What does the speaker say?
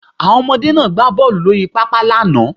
Àwọn ọmọdé náà gbá bọ́ọlù lórí pápá lánàá